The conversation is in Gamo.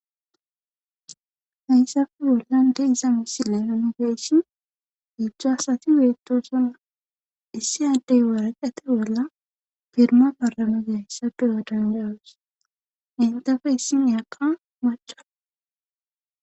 hayssappe bollan de'iza misile nuuni be'ishin heedzdzu asati beettosona issi addey waraqeta bolla firma paramizaayssa be'o dandayos entappe issiniyakka maca